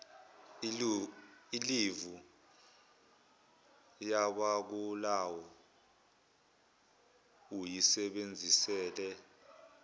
ilivu yabagulayo uyisebenzisele